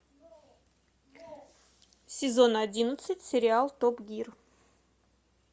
сезон одиннадцать сериал топ гир